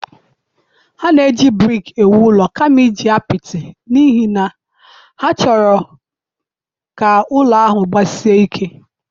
Ha na-eji brik ewu ụlọ kama iji apịtị n'ihi na ha chọrọ ka ụlọ ahụ gbasie ike